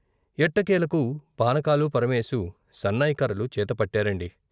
ఎట్టకేలకు పానకాలు, పరమేశు సన్నాయి కర్రలు చేత పట్టారండి.